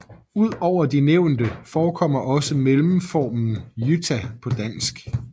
Ud over de nævnte forekommer også mellemformen Jytta på dansk